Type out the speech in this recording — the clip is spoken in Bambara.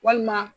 Walima